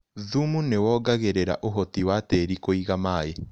Thumu nĩwongagĩrĩra ũhoti wa tĩri kũiga maĩ.